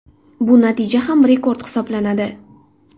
Bu natija ham rekord hisoblanadi .